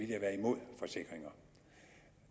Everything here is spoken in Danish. jeg være imod forsikringer